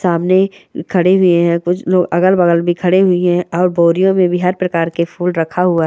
सामने खड़े हुई हैं कुछ अगल-बगल भी खड़े हुई हैं और बोरियो में भी हर प्रकार के फूल रखा हुआ--